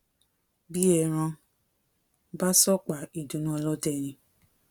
bí ẹran bá sọ̀pá ìdùnnú ọlọdẹ ni